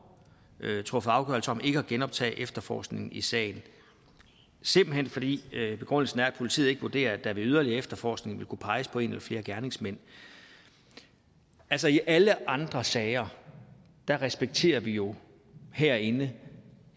truffet afgørelse om ikke at genoptage efterforskningen i sagen simpelt hen fordi politiet ikke vurderer at der ved yderligere efterforskning ville kunne peges på en eller flere gerningsmænd altså i alle andre sager respekterer vi jo herinde